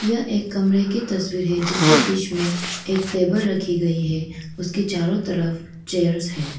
यह एक कमरे की तस्वीर है जिसके बीच में एक टेबल रखी गई है उसके चारों तरफ चेयर्स है।